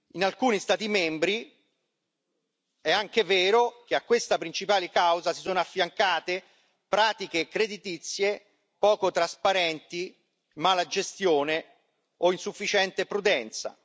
In alcuni Stati membri è anche vero che a questa principale causa si sono affiancate pratiche creditizie poco trasparenti, malagestione o insufficiente prudenza.